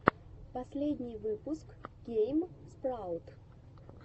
последний выпуск гейм спраут